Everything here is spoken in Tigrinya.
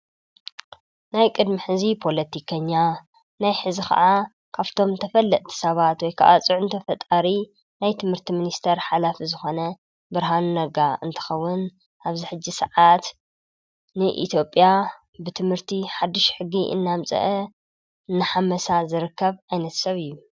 ናይ ቅድሚሕእዚ ጶሎቲከኛ ናይ ሕዚ ኸዓ ካፍቶም ተፈለቲ ሰባት ወይከኣጽዕ እንተ ፈጣሪ ናይ ትምህርቲ ምንስተር ሓላፊ ዝኾነ ብርሃኑ ነጋ እንተኸውን ኣብሕ ሰዓት ንኢቲጴያ ብትምህርቲ ሓድሽ ሕጊ እናምጽአ ንሓመሳ ዝርከብ ኣይነት ሰብ እዩ።